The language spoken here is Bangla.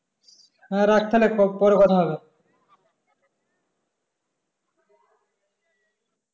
হ্যাঁ রাখ তাইলে পরে কথা হবে